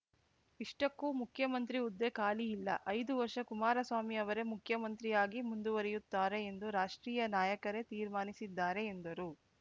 ಇಷ್ಟಕ್ಕೂ ಮುಖ್ಯಮಂತ್ರಿ ಹುದ್ದೆ ಖಾಲಿ ಇಲ್ಲ ಐದು ವರ್ಷ ಕುಮಾರಸ್ವಾಮಿ ಅವರೇ ಮುಖ್ಯಮಂತ್ರಿಯಾಗಿ ಮುಂದುವರೆಯುತ್ತಾರೆ ಎಂದು ರಾಷ್ಟ್ರೀಯ ನಾಯಕರೇ ತೀರ್ಮಾನಿಸಿದ್ದಾರೆ ಎಂದರು